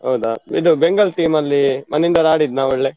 ಹೌದಾ, ಇದು Bengal team ಅಲ್ಲಿ ಮಣಿಂದರ್ ಆಡಿದ್ನಾ ಒಳ್ಳೆ?